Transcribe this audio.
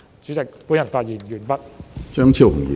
主席，我發言完畢。